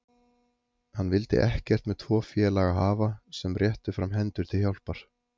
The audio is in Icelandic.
Hann vildi ekkert með tvo félaga hafa sem réttu fram hendur til hjálpar.